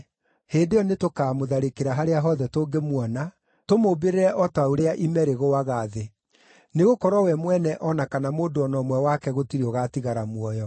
Hĩndĩ ĩyo nĩtũkaamũtharĩkĩra harĩa hothe tũngĩmuona, tũmũmbĩrĩre o ta ũrĩa ime rĩgũaga thĩ. Nĩgũkorwo we mwene o na kana mũndũ o na ũmwe wake gũtirĩ ũgaatigara muoyo.